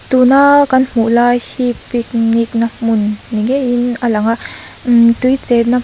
tuna kan hmuh lai hi picnic na hmun ni ngeiin a lang a mmm tui chenna--